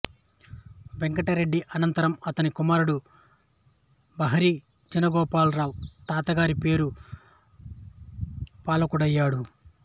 వెంకటరెడ్డి అనంతరం అతని కుమారుడు బహిరీ చిన గోపాలరావు తాత గారి పేరు పాలకుడయ్యాడు